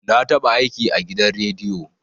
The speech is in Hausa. Na taɓa aiki a gidan rediyo